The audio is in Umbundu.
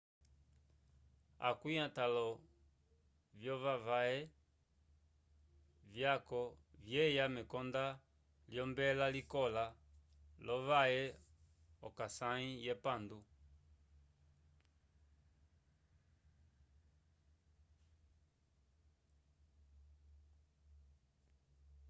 akwĩ atãlo vyovawe vyaco vyeya mekonda lyombela liloka lovawe k'osãyi yepandu